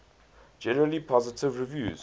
generally positive reviews